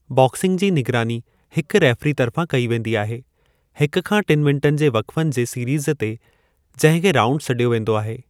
Boxing जे निगरानी हिकु रेफ़री तर्फ़ां कई वेंदी आहे हिक खां टिनि मिन्टनि जी वक़फ़न जे सीरीज़ ते जंहिं खे राऊंड सॾियो वेंदो आहे।